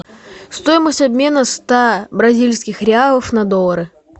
стоимость обмена ста бразильских реалов на доллары